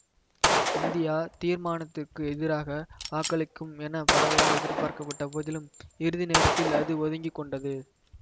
India தீர்மானத்துக்கு எதிராக வாக்களிக்கும் என பரவலாக எதிர்பார்க்கப்பட்ட போதிலும் இறுதி நேரத்தில் அது ஒதுங்கி கொண்டது